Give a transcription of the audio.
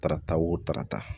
Karata o tarata